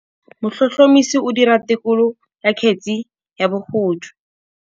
Motlhotlhomisi o dira têkolô ya kgetse ya bogodu.